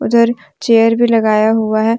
उधर चेयर भी लगाया हुआ है।